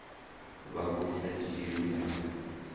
vha vhu sa dzhielwi nha